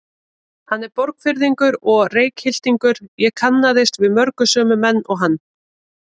Hann er Borgfirðingur og Reykhyltingur, ég kannaðist við marga sömu menn og hann.